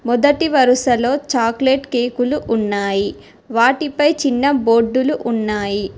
మొదటి వరుసలో చాక్లెట్ కేకులు ఉన్నాయి వాటిపై చిన్న బోర్డులు ఉన్నాయి.